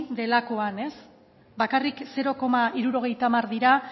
delakoan bakarrik zero koma hirurogeita hamar dira